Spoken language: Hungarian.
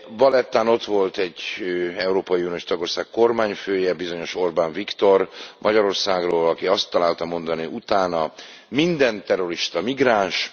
Valettán ott volt egy európai uniós tagország kormányfője, bizonyos Orbán Viktor Magyarországról, aki azt találta mondani utána Minden terrorista migráns.